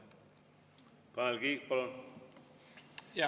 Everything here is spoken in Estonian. Tanel Kiik, palun!